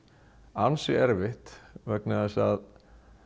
ansi erfitt vegna þess að